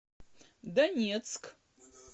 донецк